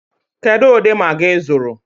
Kedụ ụdị Magị ị zụrụ?